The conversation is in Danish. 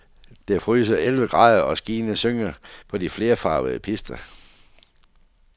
Det fryser elleve grader og skiene synger på de flerfarvede pister.